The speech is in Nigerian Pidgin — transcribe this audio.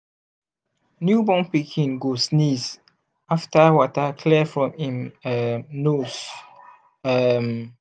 new born pikin go sneeze after water clear from im um nose um